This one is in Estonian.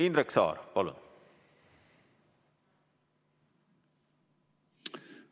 Indrek Saar, palun!